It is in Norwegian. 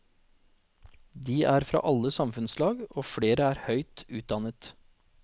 De er fra alle samfunnslag, og flere er høyt utdannet.